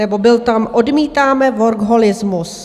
Nebo bylo tam: odmítáme workoholismus.